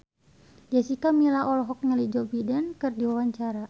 Jessica Milla olohok ningali Joe Biden keur diwawancara